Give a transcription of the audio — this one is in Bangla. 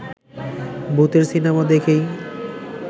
ভূতের সিনেমা দেখেই